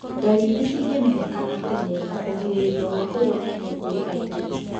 Ndariri cingĩmenyekana tene na kũgirĩrĩrio gwa kũgwatanĩo kũrĩ aingĩ.